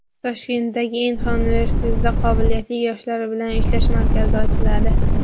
Toshkentdagi Inxa universitetida qobiliyatli yoshlar bilan ishlash markazi ochiladi.